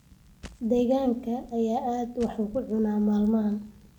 Digaaggaha ayaa aad waax u cuna maalmahan